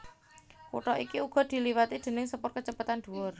Kutha iki uga diliwati déning sepur kacepetan dhuwur